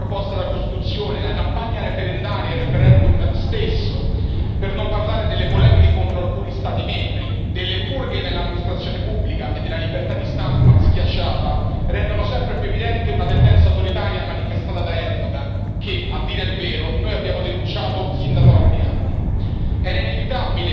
Le inaccettabili modifiche proposte alla Costituzione, la campagna referendaria e il referendum stesso, per non parlare delle polemiche contro alcuni Stati membri, delle purghe nell'amministrazione pubblica e della libertà di stampa schiacciata, rendono sempre più evidente una tendenza autoritaria manifestata da Erdoğan che, a dire il vero, noi abbiamo denunciato sin da troppi anni.